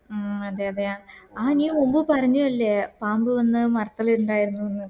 മ് അതെ അതെ ആ നീ മുമ്പ് പറഞ്ഞെ അല്ലെ പാമ്പ് വന്നു മരത്തില് ഇണ്ടായിരുന്നു